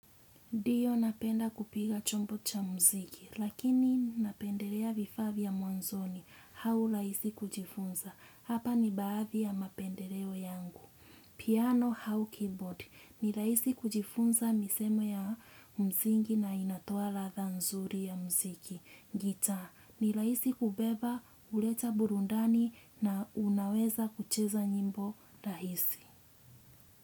Ndiyo napenda kupiga chombo cha muziki, lakini napendelea vifaa vya mwanzoni au rahisi kujifunza. Hapa ni baadhi ya mapendeleo yangu. Piano au keyboard, ni rahisi kujifunza misemo ya msingi na inatoa ladha nzuri ya muziki. Gitaa, ni rahisi kubeba, huleta burudani na unaweza kucheza nyimbo rahisi.